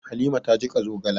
Halima ta jiƙa zogala.